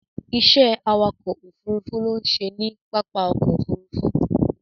Ìṣe awakọ̀ ófurufú ló ń ṣe ní pápá ọkọ̀ Òfurufú.